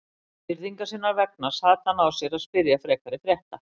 Virðingar sinnar vegna sat hann á sér að spyrja frekari frétta.